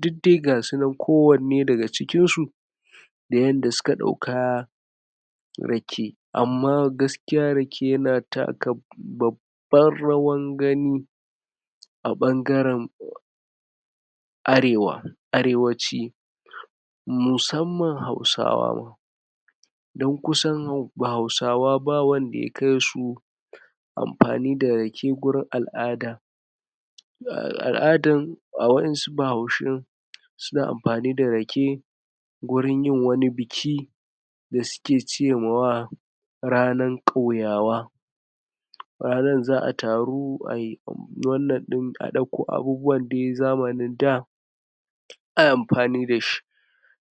dud dai gasu nan ko wanne daga cikin su, da yanda suka ɗauka rake. Amma gaskiya rake, yana taka babban rawan gani, a ɓangaren arewa arewaci. Musamman hausawa, don kusan hausawa ba wanda ya kai su amfani da rake, wurin al'ada al'adan, wa'insu bahaushun suna amfani da rake, gurin yin wani biki, da suke ce ma wa ranan ƙauyawa, ranan za a taru, a ɗakko abubuwan zamanin daː ai amfani dashi.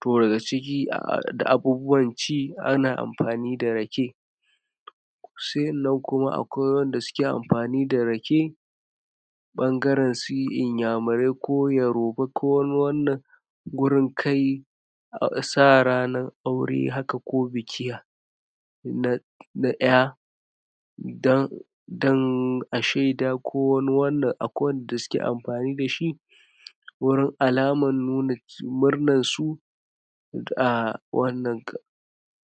To, daga ciki da abubuwan ci, ana amfani da rake. Sa'innan kuma, akwai wanda suke amfani da rake, ɓangaren su inyamurai, ko yoroba, ko wani wannan, gurin kai sa ranan aure haka, ko biki na na ƴa, dan dan a shaida, ko wani wannan, akwai wanda suke amfani dashi wurin alaman nuna murnan su,